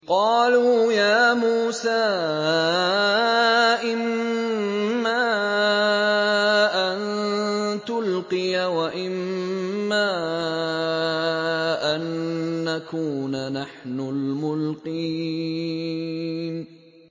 قَالُوا يَا مُوسَىٰ إِمَّا أَن تُلْقِيَ وَإِمَّا أَن نَّكُونَ نَحْنُ الْمُلْقِينَ